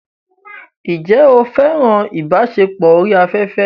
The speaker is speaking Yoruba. Ǹjẹ́ o fẹ́ràn ìbáṣepọ̀ orí afẹ́fẹ́?